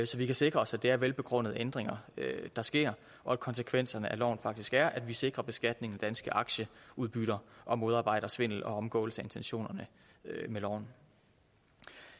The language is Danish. så vi kan sikre os at det er velbegrundede ændringer der sker og at konsekvenserne af loven faktisk er at vi sikrer beskatningen af danske aktieudbytter og modarbejder svindel og omgåelse af intentionerne med loven